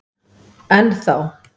Enn þá.